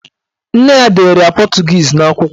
Nne ya dere ya pọtụgiizi n'akwụkwọ.